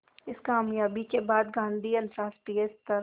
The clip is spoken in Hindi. इस क़ामयाबी के बाद गांधी अंतरराष्ट्रीय स्तर